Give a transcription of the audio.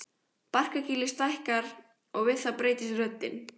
Barkakýlið stækkar og við það breytist röddin.